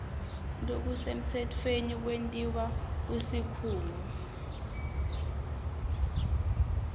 lokusemtsetfweni kwentiwa kusikhungo